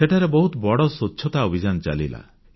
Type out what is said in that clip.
ସେଠାରେ ବହୁତ ବଡ଼ ସ୍ୱଚ୍ଛତା ଅଭିଯାନ ଚାଲିଲା